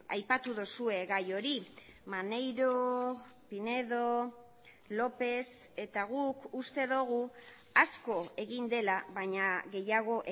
aipatu duzue gai hori maneiro pinedo lópez eta guk uste dugu asko egin dela baina gehiago